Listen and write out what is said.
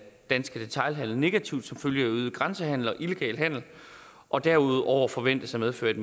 danske detailhandel negativt som følge af øget grænsehandel og illegal handel og derudover forventes at medføre et